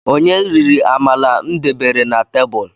Onye riri amala m debere na tebulu?